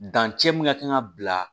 Dancɛ mun ka kan ka bila